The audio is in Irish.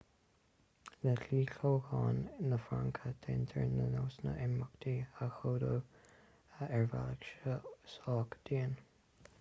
le dlí toghcháin na fraince déantar na nósanna imeachta a chódú ar bhealach sách dian